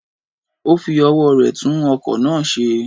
O fi owó re tun okò náà se